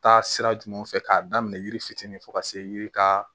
Taa sira jumɛnw fɛ k'a daminɛ yiri fitinin fo ka se yiri ka